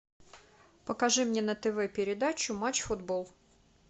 покажи мне на тв передачу матч футбол